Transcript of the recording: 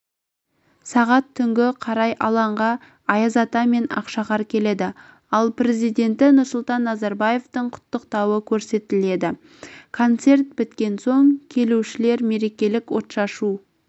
сағат түнгі қарай алаңға аяз ата мен ақшақар келеді ал президенті нұрсұлтан назарбаевтың құттықтауы көрсетіледі концерт біткен соң келушілер мерекелік отшашу